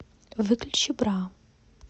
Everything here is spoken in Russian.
выключи бра